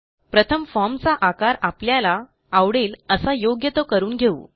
प्रथम फॉर्म चा आकार आपल्याला आवडेल असा योग्य तो करून घेऊ